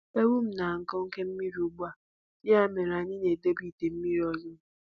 Ewu m na-aṅụ oke mmiri ugbu a, ya mere anyị na-edobe ite mmiri ọzọ.